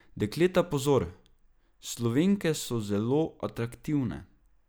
Dekleta pozor: "Slovenke so zelo atraktivne.